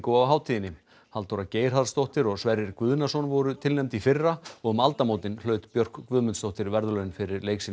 á hátíðinni Halldóra Geirharðsdóttir og Sverrir Guðnason voru tilnefnd í fyrra og um aldamótin hlaut Björk Guðmundsdóttir verðlaun fyrir leik sinn í